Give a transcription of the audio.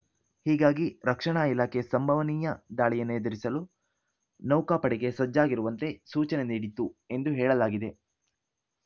ಹೀಗಾಗಿ ರಕ್ಷಣಾ ಇಲಾಖೆ ಸಂಭವನೀಯ ದಾಳಿಯನ್ನು ಎದುರಿಸಲು ನೌಕಾಪಡೆಗೆ ಸಜ್ಜಾಗಿರುವಂತೆ ಸೂಚನೆ ನೀಡಿತ್ತು ಎಂದು ಹೇಳಲಾಗಿದೆ